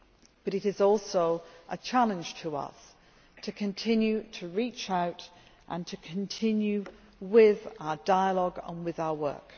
But it is also a challenge to us to continue to reach out and to continue with our dialogue and with our work.